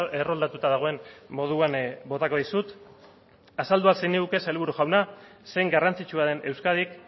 erroldatuta dagoen moduan botako dizut azaldu al zeniguke sailburu jauna zein garrantzitsua den euskadik